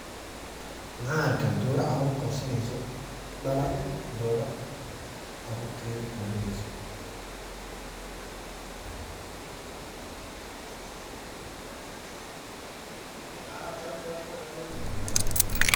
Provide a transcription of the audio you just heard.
maxa dura caruur korsaneyso daala dooro carurteda korineyso.